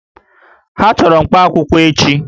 Ha chọrọ mkpaakwụkwọ echi